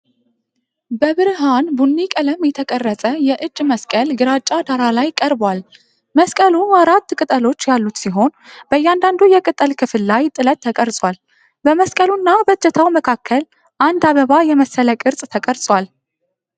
በብርሃን ቡኒ ቀለም የተቀረጸ የእጅ መስቀል ግራጫ ዳራ ላይ ቀርቧል። መስቀሉ አራት ቅጠሎች ያሉት ሲሆን፣ በእያንዳንዱ የቅጠል ክፍል ላይ ጥለት ተቀርጿል። በመስቀሉና በእጀታው መካከል አንድ አበባ የመሰለ ቅርጽ ተቀርጿል።